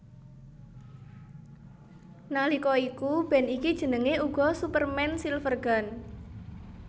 Nalika iku band iki jenengé uga Superman Silvergun